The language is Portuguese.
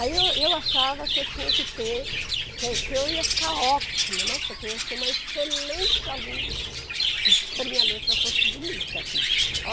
Aí eu eu achava que eu tinha que ter, que que eu ia ficar ótima, nossa, que eu ia ser uma excelente aluna se se a minha letra fosse bonita. Hum.